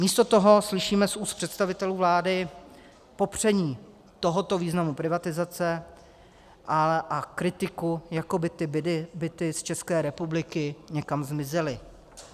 Místo toho slyšíme z úst představitelů vlády popření tohoto významu privatizace a kritiku, jako by ty byty z České republiky někam zmizely.